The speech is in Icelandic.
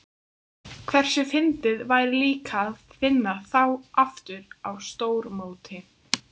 Hversu fyndið væri líka að vinna þá aftur á stórmóti?